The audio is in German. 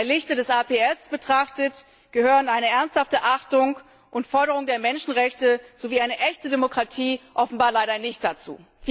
Im Lichte des APS betrachtet, gehören eine ernsthafte Achtung und Forderung der Menschenrechte sowie eine echte Demokratie offenbar leider nicht dazu.